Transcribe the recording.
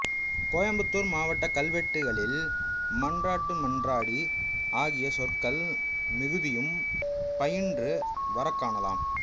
கோயம்புத்தூர் மாவட்டக் கல்வெட்டுகளில் மன்றாட்டுமன்றாடி ஆகிய சொற்கள் மிகுதியும் பயின்று வரக்காணலாம்